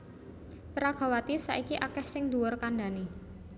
Peragawati saiki akèh sing dhuwur kandhané